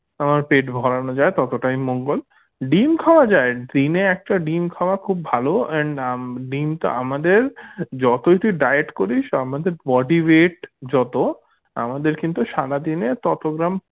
আহ পেট ভরানো যায় ততটাই মঙ্গোল ডিম খাওয়া যায় ডিমে একটা ডিম খাওয়া খুব ভালো and উম ডিমটা আমাদের যতই তুই diet করিস আমাদের body weight যত আমাদের কিন্তু সারাদিনে তত gram